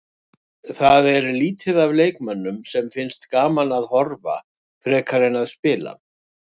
Það er lítið af leikmönnum sem finnst gaman að horfa frekar en að spila.